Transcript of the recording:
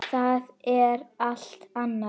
Það er allt annað.